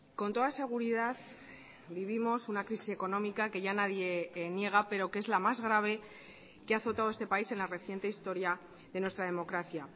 con toda seguridad vivimos una crisis económica que ya nadie niega pero que es la más grave que ha azotado este país en la reciente historia de nuestra democracia